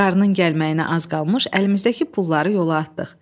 Qarının gəlməyinə az qalmış əlimizdəki pulları yola atdıq.